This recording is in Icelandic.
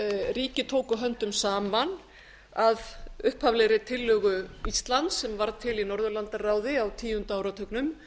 ríki tóku höndum saman að upphaflegri tillögu íslands sem varð til í norðurlandaráði á tíunda áratugnum